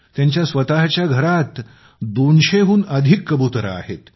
त्याच्या स्वतःच्या घरात 200 हून अधिक कबुतरे आहेत